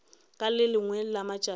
ka le lengwe la matšatši